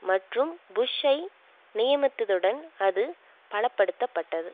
மற்றும் புஷ் ஐ நியமித்ததுடன் அது பலப்படுத்தப்பட்டது